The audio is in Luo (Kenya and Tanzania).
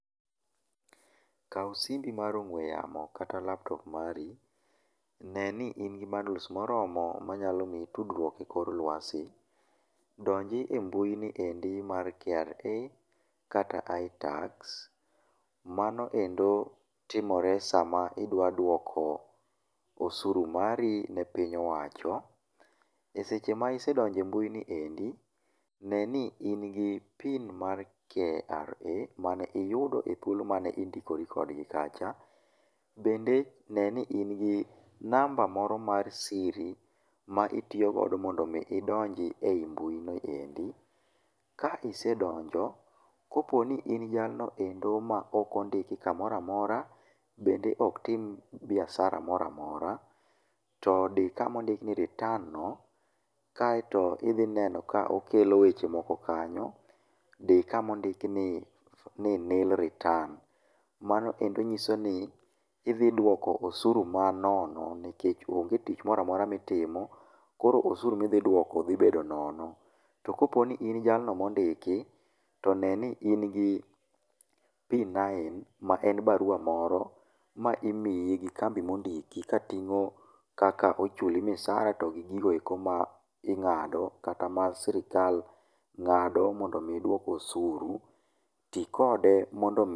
Kaw simbi mar ong'we yamo kata laptop mari, ne ni ingi bundles moromo manyalo mii tudruok e kor lwasi. Donji e mbui niendi mar KRA kata itax. Manoendo timore sama idwa duoko osuru mari ne piny owacho. Eseche ma isedonjo e mbui niendi, ne ni in gi PIN mar KRA mane iyudo e thuolo mane indikori kodgi kacha. Bende neni ni ingi namba moro mar siri ma itiyogodo mondo mi idonji e mbui noendi. Ka isedonjo, kapo ni in jalno ma ok ondiki kamoramora, bende ok tim biasara moramora, to dii kama ondiki ni "return" no, kaeto idhi neno ka okelo weche moko kanyo. Dii kama ondik ni "nil return". Manoendo nyiso ni idhi duoko osuru manono nikech onge tich moramora mtiimo, koro osuru midhi duoko dhi bedo nono. To kapo ni in jalno mondiki, to neni in gi P9 ma en barua moro ma imii gi kambi mondiki kapimo kaka ochuli msara to gi gigoeko ma ing'ado kata ma sirkal ng'ado mondo mi iduok osuru. Ti kode mondo mii...